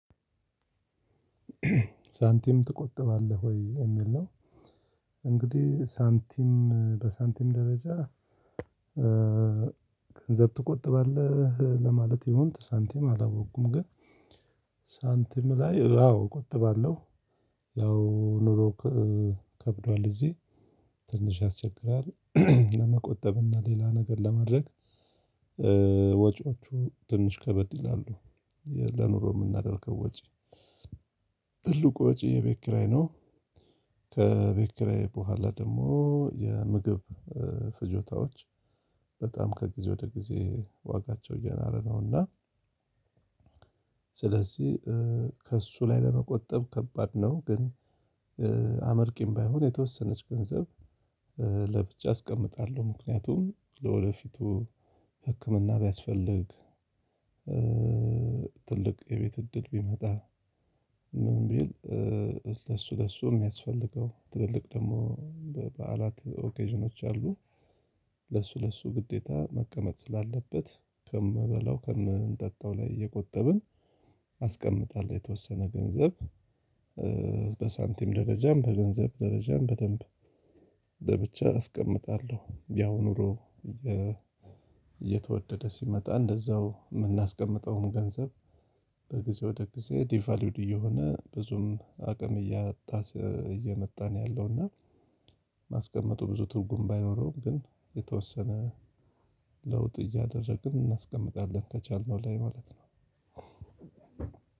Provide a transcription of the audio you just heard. ሳንቲም ትቆጥባለህ ወይ የሚል ነው። እንግዲህ ሳንቲም በሳንቲም ደረጃ ገንዘብ ትቆጥባለህ ለማለት ይሁን ሳንቲም አላወቁም ግን ሳንቲም ላይ አዎ እቆጥባለሁ። ያው ኑሮ ከብዷል እዚህ ትንሽ ያስቸግራል ለመቆጠብና ሌላ ነገር ለማድረግ ወጪዎቹ ትንሽ ከበድ ይላሉ። ለኑሮ የምናደርገው ወጪ ትልቁ ወጪ የቤት ኪራይ ነው። ከቤት ኪራይ በኋላ ደግሞ የምግብ ፍጆታዎች በጣም ከጊዜ ወደ ጊዜ ዋጋቸው ነውና ስለዚህ ከእሱ ላይ ለመቆጠብ ከባድ ነው ግን አመርቂም ባይሆን የተወሰነች ገንዘብ ለብቻ አስቀምጣለሁ። ምክንያቱም ለወደፊቱ ህክምና ቢያስፈልግ ትልቅ የቤት እድል ቢመጣ ምን ቢል ለሱ ለሱ የሚያስፈልገው ትልልቅ ደግሞ በበዓላት ኦኬዥኖች አሉ ለሱ ለሱ ግዴታ መቀመጥ ስላለበት ከምበላው ከምንጠጣው ላይ እየቆጠብን አስቀምጣለሁ የተወሰነ ገንዘብ በሳንቲም ደረጃም በገንዘብ ደረጃም በደንብ በብቻ አስቀምጣለሁ። ያው ኑሮ እየተወደደ ሲመጣ እንደዛው ምናስቀምጠውም ገንዘብ በጊዜ ወደ ጊዜ ዲቫልዩድ እየሆነ ብዙም አቅም እያጣ እየመጣን ያለውና ማስቀመጡ ብዙ ትርጉም ባይኖረውም ግን የተወሰነ ለውጥ እያደረግን እናስቀምጣለን ከቻልነው ላይ ማለት ነው።